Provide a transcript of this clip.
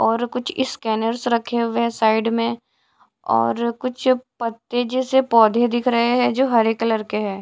और कुछ स्कैनर्स रखे हुए है साइड में और कुछ पत्ते जैसे पौधे दिख रहे हैं जो हरे कलर के हैं।